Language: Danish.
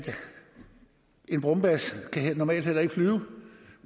en brumbasse normalt heller ikke kan flyve